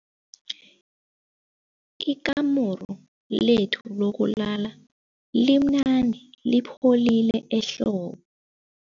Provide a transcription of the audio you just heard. Ikamuru lethu lokulala limnandi lipholile ehlobo.